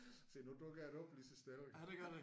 Se nu dukker det op lige så stille